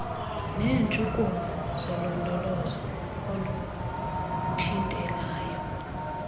neetshukumo zolondolozo oluthintelayo